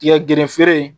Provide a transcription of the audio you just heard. Tigɛ gerefere